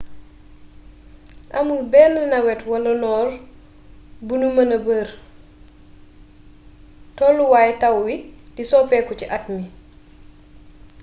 amul benn nawet wala noor bu nu mëna ber: tolluwaay taw wi du soppeeku ci at mi.